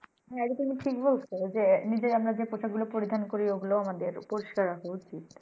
এটা তুমি ঠিক বলছো যে নিজে আমরা যে পোশাক গুলো পরিধান করি ওগুলো আমাদের পরিস্কার রাখা উচিৎ।